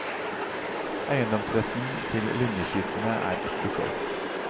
Eiendomsretten til linjeskipene er ikke solgt.